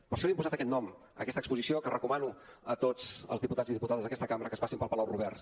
per això li hem posat aquest nom a aquesta exposició que recomano a tots els diputats i diputades d’aquesta cambra que passin pel palau robert